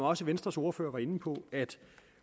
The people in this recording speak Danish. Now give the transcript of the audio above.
også venstres ordfører var inde på at